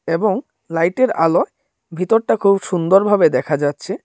এবং লাইট এর আলো ভেতরটা খুব সুন্দরভাবে দেখা যাচ্ছে।